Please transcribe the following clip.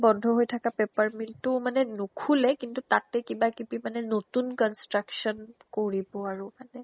বন্ধ হৈ থাকা paper mill টো মানে নোখোলে কিন্তু তাতে কিবা কিবি মানে নতুন construction কৰিব আৰু মানে।